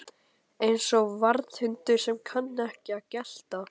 Eins og varðhundar sem kunna ekki að gelta